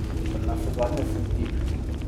Navsezadnje sem tip.